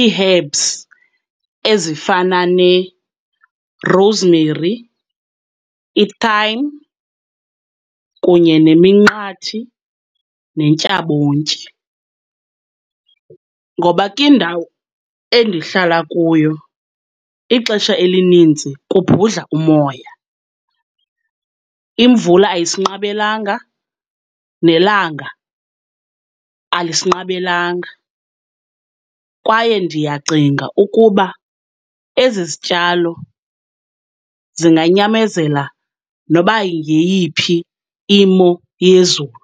ii-herbs ezifana ne-rosemary, i-thyme kunye neminqathi, nentyabontyi. Ngoba kwindawo endihlala kuyo ixesha elininzi kubhudla umoya, imvula ayisinqabelanga, nelanga alisinqabelanga. Kwaye ndiyacinga ukuba ezi zityalo zinganyamezela noba yeyiphi imo yezulu.